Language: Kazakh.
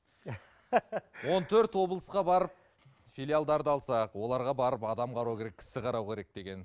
он төрт облысқа барып филиалдарды алсақ оларға барып адам қарау керек кісі қарау керек деген